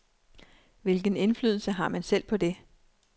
Hvilken indflydelse har man selv på det?